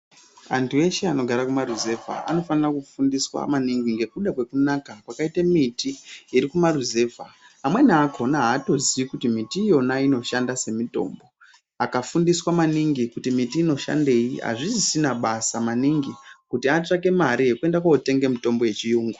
Antu eshe anogara kumaruzevha anofanira kufundiswa maningi ngekuda kwekunaka kwakaite miti iri kumaruzevha. Amweni akhona aatoziyi kuti miti iiyonainoshanda semitombo. Akafundiswa maningi kuti miti inoshandei, azvisisina basa maningi ,kuti atsvake mare yekuenda kootenga mitombo yechiyungu.